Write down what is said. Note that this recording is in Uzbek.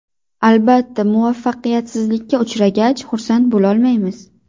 Albatta, muvaffaqiyatsizlikka uchragach, xursand bo‘lolmaymiz.